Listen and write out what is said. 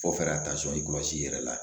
Fɔ ka kɔlɔsi i yɛrɛ la